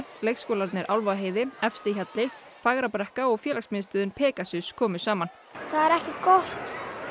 leikskólarnir Álfaheiði Efstihjalli Fagrabrekka og félagsmiðstöðin Pegasus komu saman það er ekki gott